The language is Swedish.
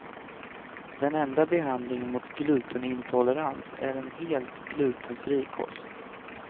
Den enda behandlingen mot glutenintolerans är en helt glutenfri kost.